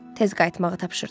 Tez qayıtmağı tapşırdı.